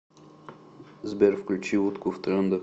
сбер включи утку в трендах